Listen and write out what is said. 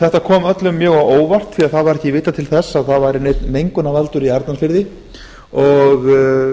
þetta kom öllum mjög á óvart því að það var ekki vitað til þess að það væri neinn mengunarvaldur í arnarfirði og